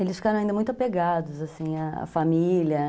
Eles ficaram ainda muito apegados, assim, à à família.